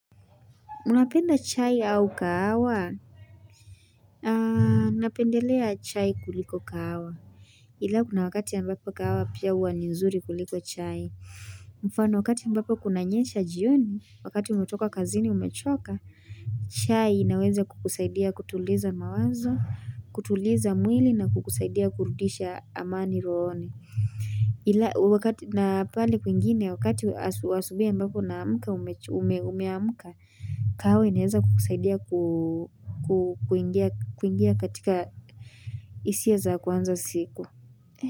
Unapenda chai au kahawa? Napendelea chai kuliko kahawa ila kuna wakati ambapo kahawa pia huwa ni nzuri kuliko chai mfano wakati ambapo kunanyesha jioni, wakati umetoka kazini umechoka chai inaweza kukusaidia kutuliza mawazo, kutuliza mwili na kukusaidia kurudisha amani rohoni. Ila wakati na pahali kwingine wakati wa asubuhi ambako naamka umeamka, kahawa inaweza kukusaidia kuingia katika hisia za kuanza siku.